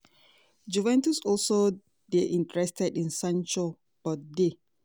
juventus also dey interested in sancho but dey